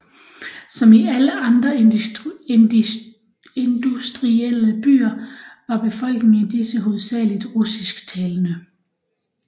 Som i alle de andre industrielle byer var befolkningen i disse hovedsageligt russisktalende